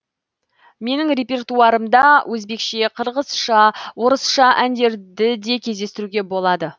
менің репертуарымда өзбекше қырғызша орысша әндерді де кездестіруге болады